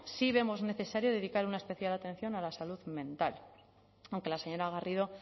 sí veamos necesario dedicar una especial atención a la salud mental aunque la señora garrido